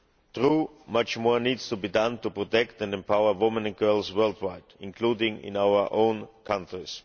True, much more needs to be done to protect and empower women and girls worldwide, including in our own countries.